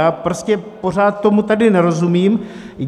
Já prostě pořád tomu tady nerozumím.